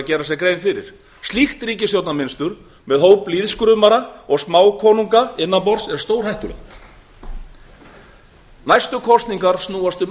huga þegar gengið verður að kjörborðinu slíkt ríkisstjórnarmynstur með hóp lýðskrumara og smákonunga innan borðs er stórhættulegt atvinnumálin eru þau mál sem næstu kosningar snúast um